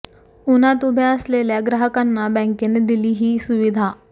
उन्हात उभ्या असलेल्या ग्राहकांना बँकेने दिली ही सुविधा